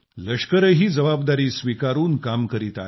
लष्करानंही काही जबाबदारी स्वीकारून काम करीत आहे